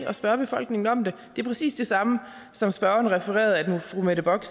at spørge befolkningen om det det er præcis det samme som spørgeren refererede fru mette bock